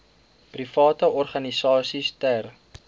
private organisasies ter